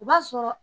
O b'a sɔrɔ